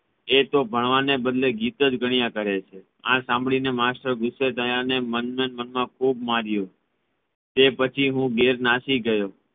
એ તો ભણવાને બદલે ગિતોજ ગણ્યા કરે છે આ સાંભળીને માસ્ટર ગુસ્સે થયા અને મણિમાનમાં ખૂબ માર્યો તે પછી હું ઘેર નાસી ગયો